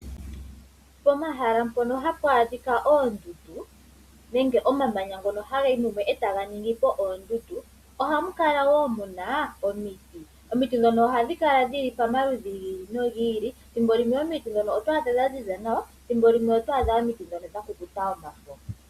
Pomahala mpono hapwa dhika oondundu nenge omamanya ngono haga yi mumwe etaga ningi po oondundu ohamu kala wo muna omiti, omiti dhono ohadhi kala dhili pomaludhi gili no gili. Thimbo limwe omiti dhono oto adhamo dhaziza nawa thimbo limwe oto adha omiti dhono dhakukuta omafo.